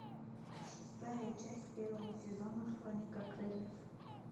шестая часть первого сезона хроника крыльев